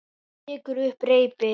Hún tekur upp reipið.